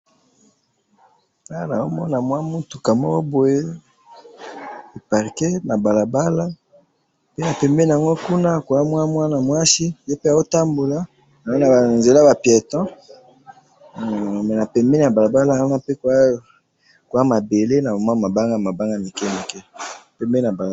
Awa nazomona mwa mutuka moko boye eparquer na balabala pe na pembeni nango kuna koza mwana mwasi yepe azo kotanbola namoni nzela yaba pieton humm pe na pembeni ya balabala nazo komona koza ba mabanga ya mike mike pembeni ya balabala